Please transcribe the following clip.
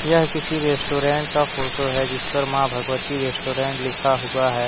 यह किसी रेस्टोरेंट का फोटो है जिसपर मां भगवती रेस्टोरेंट लिखा हुआ है।